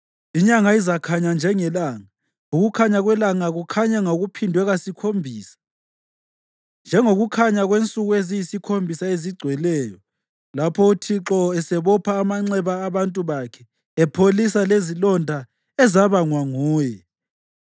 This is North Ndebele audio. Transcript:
Inyanga izakhanya njengelanga, ukukhanya kwelanga kukhanye ngokuphindwe kasikhombisa, njengokukhanya kwensuku eziyisikhombisa ezigcweleyo, lapho uThixo esebopha amanxeba abantu bakhe, epholisa lezilonda ezabangwa nguye.